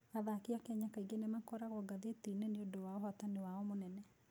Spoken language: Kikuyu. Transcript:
Athaki a Kenya kaingĩ nĩ makoragwo ngathĩti-inĩ nĩ ũndũ wa ũhootani wao mũnene.